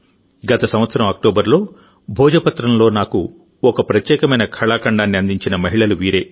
గత సంవత్సరం అక్టోబర్లో భోజపత్రంలో నాకు ఒక ప్రత్యేకమైన కళాఖండాన్ని అందించిన మహిళలు వీరే